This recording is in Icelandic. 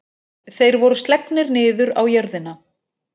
Þeir voru slegnir niður á jörðina.